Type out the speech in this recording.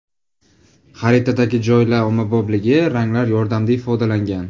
Xaritadagi joylar ommabopligi ranglar yordamida ifodalangan.